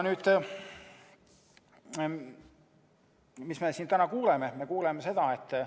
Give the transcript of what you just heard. Mida me siin täna oleme kuulnud?